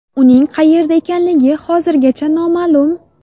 Uning qayerda ekanligi hozirgacha noma’lum.